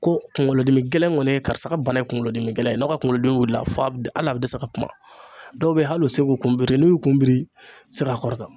Ko kunkolodimi gɛlɛn kɔni ye karisa ka bana ye kunkolo dimi gɛlɛn ye n'a ka kunkolodimi wilila hali a bɛ dɛsɛ ka kuma dɔw bɛ ye hali u tɛ se k'u kunbiri n'u y'u kun biri sira